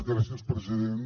gràcies president